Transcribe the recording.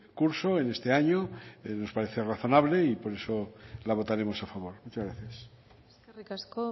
curso en este año nos parece razonable y por eso la votaremos a favor muchas gracias eskerrik asko